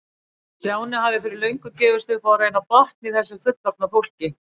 Stjáni hafði fyrir löngu gefist upp á að reyna að botna í þessu fullorðna fólki.